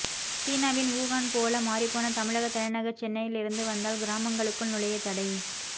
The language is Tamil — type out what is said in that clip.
சீனாவின் வுகான் போல மாறிப்போன தமிழக தலைநகர் சென்னையில் இருந்து வந்தால் கிராமங்களுக்குள் நுழைய தடை